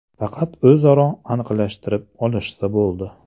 Faqat o‘zaro aniqlashtirib olishsa bo‘ldi.